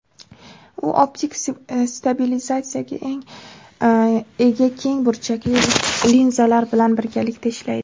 u optik stabilizatsiyaga ega keng burchakli linzalar bilan birgalikda ishlaydi.